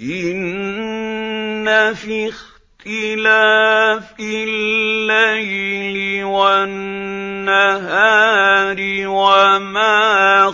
إِنَّ فِي اخْتِلَافِ اللَّيْلِ وَالنَّهَارِ وَمَا